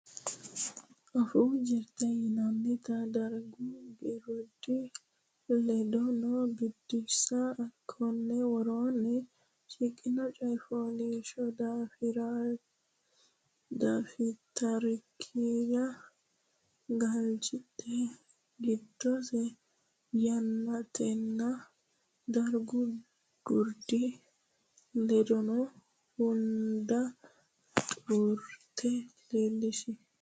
Afuu Jirte Yannatenna Dargu Gurdi ledaano Biddissa Konni woroonni shiqqino coy fooliishshuwa dafitarikkira galchidhe giddose yannatenna dargu gurdi ledaano hunda xuruurte leellishi.